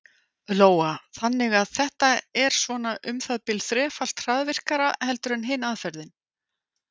Lóa: Þannig að þetta er svona um það bil þrefalt hraðvirkara heldur en hin aðferðin?